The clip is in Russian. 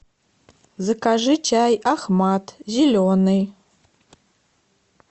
закажи чай ахмад зеленый